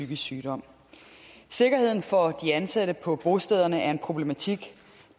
psykisk sygdom sikkerheden for de ansatte på bostederne er en problematik